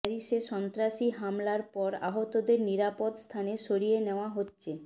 প্যারিসে সন্ত্রাসী হামলার পর আহতদের নিরাপদ স্থানে সরিয়ে নেওয়া হচ্ছে